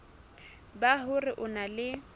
ba hore o na le